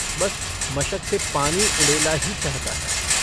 बस मशक से पानी उँडेला ही चाहता है।